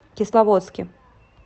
кисловодске